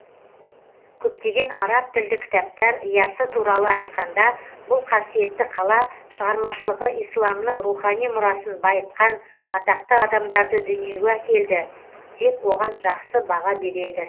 көптеген араб тілді кітаптар ясы туралы айтқанда бұл қасиетті қала шығармашылығы исламның рухани мұрасын байытқан атақты адамдарды дүниеге әкелді деп оған жақсы баға береді